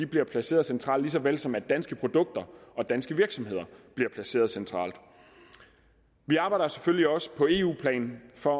bliver placeret centralt ligesom danske produkter og danske virksomheder bliver placeret centralt vi arbejder selvfølgelig også på eu plan for